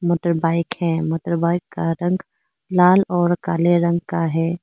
Motorbike है motorbike का रंग लाल और काले रंग का है।